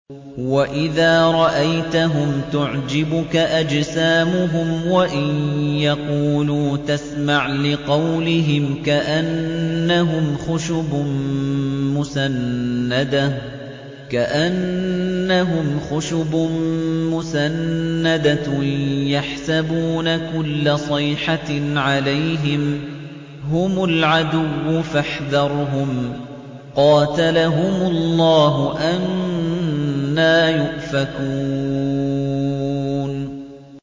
۞ وَإِذَا رَأَيْتَهُمْ تُعْجِبُكَ أَجْسَامُهُمْ ۖ وَإِن يَقُولُوا تَسْمَعْ لِقَوْلِهِمْ ۖ كَأَنَّهُمْ خُشُبٌ مُّسَنَّدَةٌ ۖ يَحْسَبُونَ كُلَّ صَيْحَةٍ عَلَيْهِمْ ۚ هُمُ الْعَدُوُّ فَاحْذَرْهُمْ ۚ قَاتَلَهُمُ اللَّهُ ۖ أَنَّىٰ يُؤْفَكُونَ